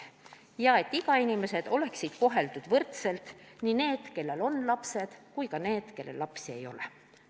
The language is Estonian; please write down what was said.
Ja ikä-inimesed peaksid olema koheldud võrdselt – need, kellel on lapsed, ja need, kellel lapsi ei ole.